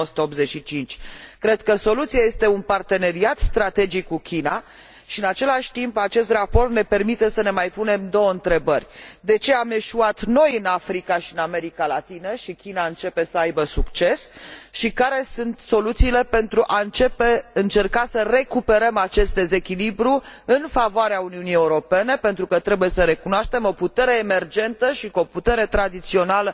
1985. Cred că soluția este un parteneriat strategic cu China și în același timp acest raport ne permite să ne mai punem două întrebări de ce am eșuat noi în Africa și în America Latină și China începe să aibă succes și care sunt soluțiile pentru a încerca să recuperăm acest dezechilibru în favoarea Uniunii Europene pentru că, trebuie să recunoaștem, o putere emergentă și cu o putere tradițională